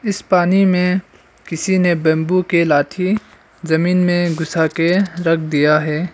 इस पानी में किसी ने बंबू के लाठी जमीन में घुसा के रख दिया है।